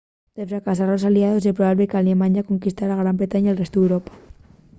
de fracasar los aliaos ye probable qu'alemaña conquistare gran bretaña y el restu d'europa